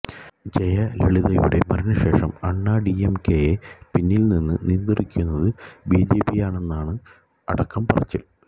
ജലയളിതയുടെ മരണശേഷം അണ്ണാഡിഎംകെയെ പിന്നില് നിന്ന് നിയന്ത്രിക്കുന്നത് ബിജെപിയാണെന്നാണ് അടക്കം പറച്ചില്